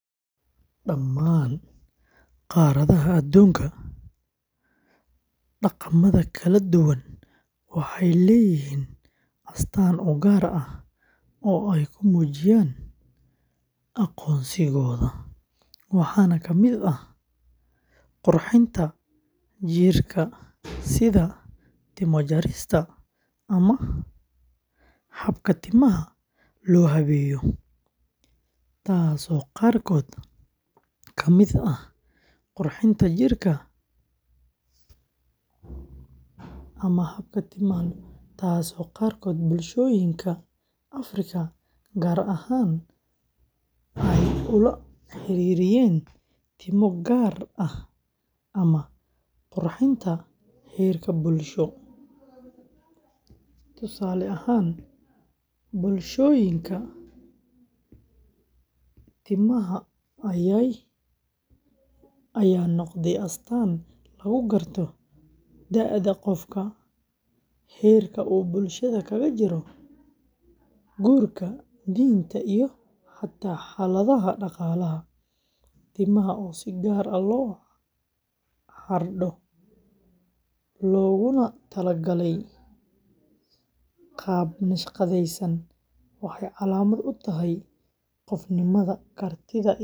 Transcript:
Daman qaradaha adunka daqamaxa kaladuwan waxay leyixiin astaan ugar ah oo ay kumujiyaan agonsigoda waxana kamid ah qurxinta jilka sidha timo jarista ama habka timaha lohabeyo, taas oo qarkod kamid ah qurxinta jirka ama timaha taas oo qarkodh bulshoyinka africa qaar ahan oguhiririyen timo gaar ah ama qurxinta herka bulsho, tusale ahan bulshoyinka timaha ayay nogda astaan lagugarto daada gofka, herka bulshada kagajiro dorka dinta iyo hata haladaha daqalaha, timaha oo si gaar ah lohardo loguna talagay gaab nashqadeysan waxay calamad utahay gofnimada kartida.